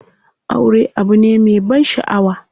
Aure abu ne me ban shaʼawa.